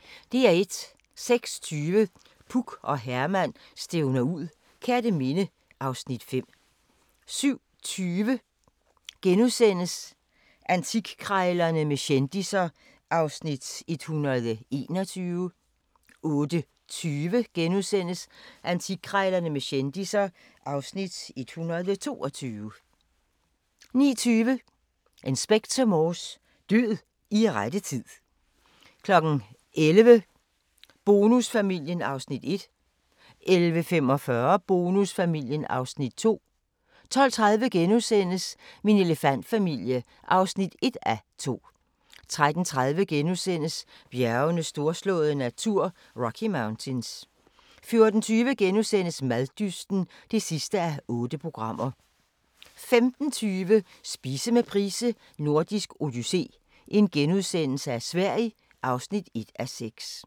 06:20: Puk og Herman stævner ud - Kerteminde (Afs. 5) 07:20: Antikkrejlerne med kendisser (Afs. 121)* 08:20: Antikkrejlerne med kendisser (Afs. 122)* 09:20: Inspector Morse: Død i rette tid 11:00: Bonusfamilien (Afs. 1) 11:45: Bonusfamilien (Afs. 2) 12:30: Min elefantfamilie (1:2)* 13:30: Bjergenes storslåede natur – Rocky Mountains * 14:20: Maddysten (8:8)* 15:20: Spise med Price: Nordisk odyssé - Sverige (1:6)*